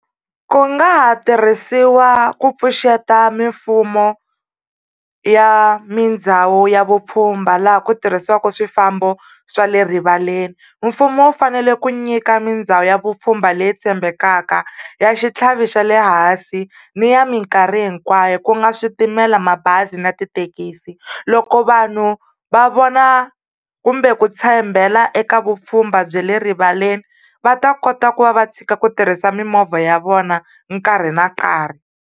Ku nga ha tirhisiwa ku pfuxeta mimfumo ya mindhawu ya vupfhumba laha ku tirhisiwaka swifambo swa le rivaleni. Mfumo wu fanele ku nyika mindhawu ya vupfhumba leyi tshembekaka, ya xitlhavi xa le hansi ni ya minkarhi hinkwayo ku nga switimela, mabazi na tithekisi. Loko vanhu va vona kumbe ku tshembela eka vupfhumba bya le rivaleni va ta kota ku va va tshika ku tirhisa mimovha ya vona nkarhi na nkarhi.